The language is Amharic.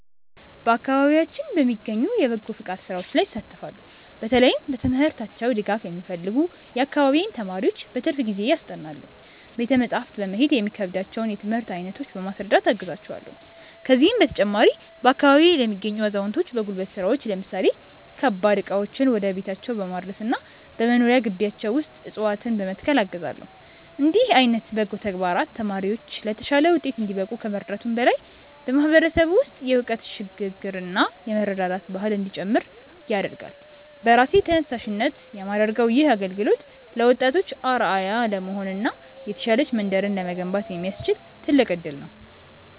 በአካባቢያችን በሚገኙ የበጎ ፈቃድ ሥራዎች ላይ እሳተፋለው። በተለይም በትምህርታቸው ድጋፍ የሚፈልጉ የአካባቢዬን ተማሪዎች በትርፍ ጊዜዬ አስጠናለው። ቤተ መጻሕፍት በመሄድ የሚከብዳቸውን የትምህርት አይነት በማስረዳት አግዛቸዋለው። ከዚህም በተጨማሪ፣ በአካባቢዬ ለሚገኙ አዛውንቶች በጉልበት ሥራዎች ለምሳሌ ከባድ ዕቃዎችን ወደ ቤታቸው በማድረስና በመኖሪያ ግቢያቸው ውስጥ ዕፅዋትነ በመትከል አግዛለው። እንዲህ ዓይነት በጎ ተግባራት ተማሪዎች ለተሻለ ውጤት እንዲበቁ ከመርዳቱም በላይ፣ በማህበረሰቡ ውስጥ የእውቀት ሽግ ግርና የመረዳዳት ባህል እንዲጨምር ያደርጋል። በራሴ ተነሳሽነት የማደርገው ይህ አገልግሎት ለወጣቶች አርአያ ለመሆንና የተሻለች መንደርን ለመገንባት የሚያስችል ትልቅ እድል ነው።